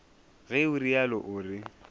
ge o realo o re